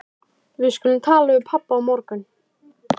Við skulum tala við pabba á morgun.